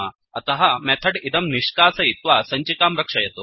अतः मेथड् इदं निष्कासयित्वा सञ्चिकां रक्षयतु